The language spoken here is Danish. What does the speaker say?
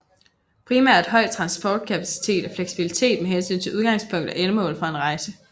Primært høj transportkapacitet og fleksibilitet med hensyn til udgangspunkt og endemål for en rejse